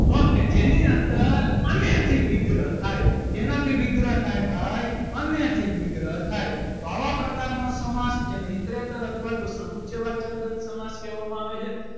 ok જેની અંદર અને થી વિગ્રહ થાય શેનાથી વિગ્રહ થાય ભાઈ અને થી વિગ્રહ થાય તો આવા પ્રકારનો સમાસ જેને ઇતરેતર અથવા તો સમુચ્ય વાચક દ્વંદ કહેવામાં આવે છે.